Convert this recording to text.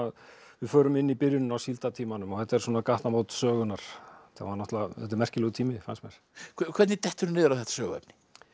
við förum inn í byrjunina á þetta eru svona gatnamót sögunnar þetta er merkilegur tími fannst mér hvernig detturðu niður á þetta söguefni